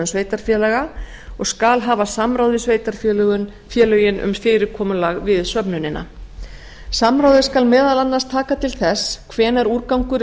sveitarfélaga og skal hafa samráð við sveitarfélögin um fyrirkomulag við söfnunina samráðið skal meðal annars taka til þess hvenær úrgangur er